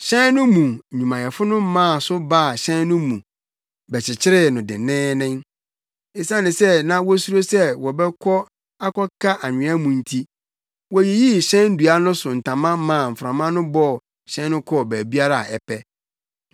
Hyɛn no mu nnwumayɛfo no maa so baa hyɛn no mu bɛkyekyeree no denneennen. Esiane sɛ na wosuro sɛ wɔbɛkɔ akɔka nwea mu nti, woyiyii hyɛn dua no so ntama maa mframa no bɔɔ hyɛn no kɔɔ baabiara a ɛpɛ.